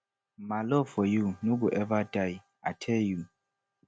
my love for you no go eva die i tell you